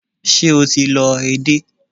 Ṣé o ti lọ edé?